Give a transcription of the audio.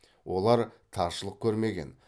олар таршылық көрмеген